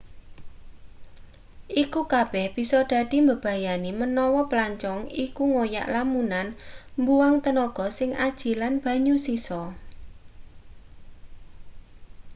iku kabeh bisa dadi mbebayani menawa plancong iku ngoyak lamunan mbuang tenaga sing aji lan banyu sisa